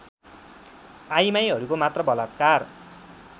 आइमाइहरूको मात्र बलात्कार